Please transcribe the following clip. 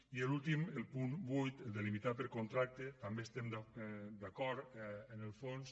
i l’últim el punt vuit el de limitar per contracte també estem d’acord en el fons